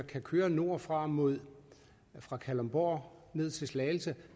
kan køre nordfra fra kalundborg ned til slagelse